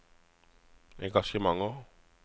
engasjementer